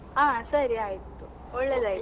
ಹಾ, ಸರಿ ಆಯ್ತು. ಒಳ್ಳೆದಾಯ್ತು.